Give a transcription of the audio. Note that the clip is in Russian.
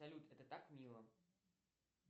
салют это так мило